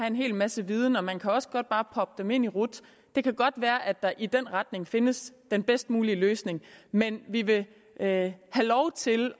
en hel masse viden og man kan også godt bare proppe dem ind i rut det kan godt være at der i den retning findes den bedst mulige løsning men vi vil have lov til